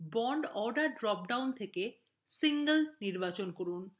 bond order drop down থেকে single নির্বাচন করুন